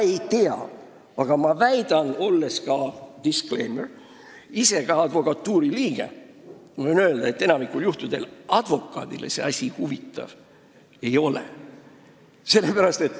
Disclaimer: olles ka ise advokatuuri liige, võin öelda, et enamikul juhtudel advokaadile see asi huvi ei paku.